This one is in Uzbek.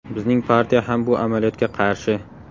Bizning partiya ham bu amaliyotga qarshi.